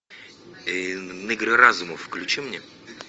игры разумов включи мне